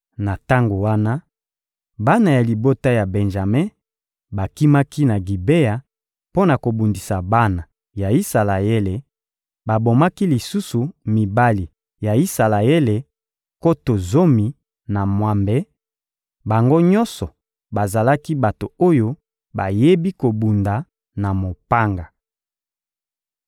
Na tango wana, bana ya libota ya Benjame bakimaki na Gibea mpo na kobundisa bana ya Isalaele, babomaki lisusu mibali ya Isalaele nkoto zomi na mwambe; bango nyonso bazalaki bato oyo bayebi kobunda na mopanga.